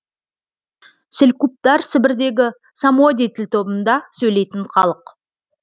селькуптар сібірдегі самодий тіл тобында сөйлейтін халық